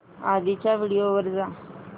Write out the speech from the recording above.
आधीच्या व्हिडिओ वर जा